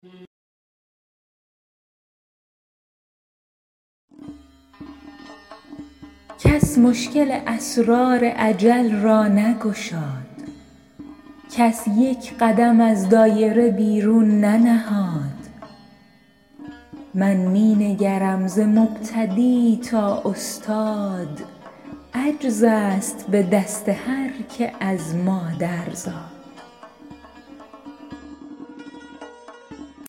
کس مشکل اسرار اجل را نگشاد کس یک قدم از دایره بیرون ننهاد من می نگرم ز مبتدی تا استاد عجز است به دست هرکه از مادر زاد